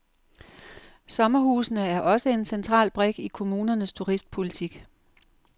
Sommerhusene er også en central brik i kommunernes turistpolitik.